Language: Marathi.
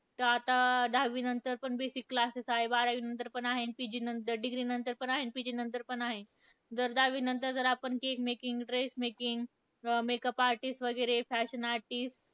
तर आता, दहावीनंतर पण basic classes आहेत. बारावीनंतर पण आहे, अन PG नंतर, degree नंतर पण आहे, PG नंतर पण आहेत. जर दहावीनंतर जर आपण cake making, dress making अं makeup artist वगैरे fashion artist,